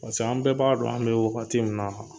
an bɛɛ b'a dɔn an bɛ wagati min na